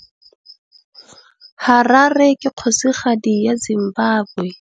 Harare ke kgosigadi ya Zimbabwe.